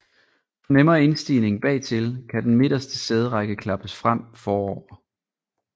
For nemmere indstigning bagtil kan den midterste sæderække klappes frem forover